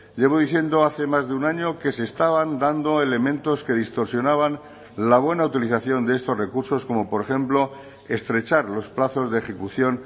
llevo diciendo hace más de un año que se estaban dando elementos que distorsionaban la buena utilización de estos recursos como por ejemplo estrechar los plazos de ejecución